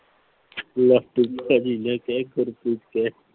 ਲਾਟੂ ਭਾਜੀ ਨਾ ਕਹਿ ਗੁਰਪ੍ਰੀਤ ਕਹਿ।